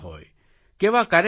કેવા કાર્યક્રમો હોય